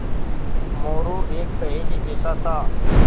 मोरू एक पहेली जैसा था